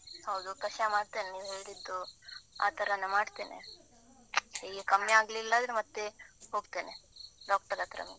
ಹೌದು, ಕಷಾಯ ಮಾಡ್ತೇನೆ ನೀನ್ ಹೇಳಿದ್ದು. ಆ ತರಾನೇ ಮಾಡ್ತೇನೆ. ಹೀಗೆ ಕಮ್ಮಿ ಆಗ್ಲಿಲ್ಲಾಂದ್ರೆ ಮತ್ತೆ ಹೋಗ್ತೇನೆ, doctor ಹತ್ರ.